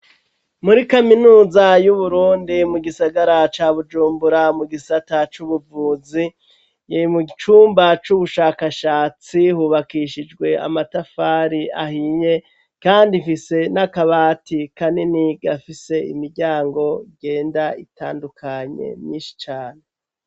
Muri kaminuza y'Uburundi mu gisagara ca Bujumbura mu gisata c'ubuvuzi mu cumba c'ubushakashatsi hubakishijwe amatafari ahiye kandi ifise n'akabati kanini gafise imiryango igenda itandukanye nyinshi cane.